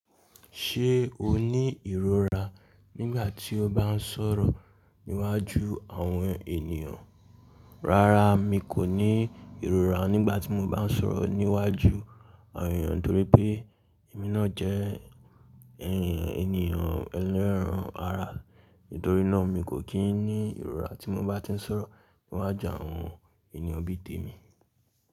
Ṣé o ní ìrora nígbà tí o bá ń sọ̀rọ̀ níwájú àwọn ènìyàn? Rárá mi kò ní ìrora nígbà tí mo bá ń sọ̀rọ̀ níwájú àwọn ènìyàn torí pé èmi náà jẹ́ ènìyàn ẹlẹ́ran ara. Nítorí náà mi kò kí ń ní ìrora tí mo bá ti ń sọ̀rọ̀ níwájú àwọn ènìyàn bí tèmi.